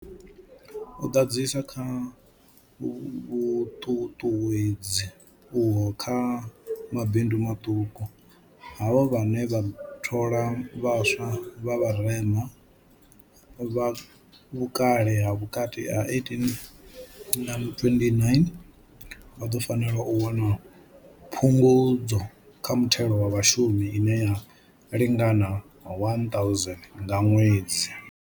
U ḓadzisa kha vhuṱuṱuwedzi uho kha mabindu maṱuku, havho vhane vha thola vhaswa vha vharema, vha vhukale ha vhukati ha 18 na 29, vha ḓo fanela u wana phungudzo kha muthelo wa vhashumi ine ya lingana 1000 nga ṅwedzi.